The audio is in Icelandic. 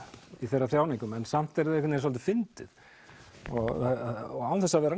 í þeirra þjáningum en samt er það svolítið fyndið og án þess að vera